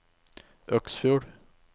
Øksfjord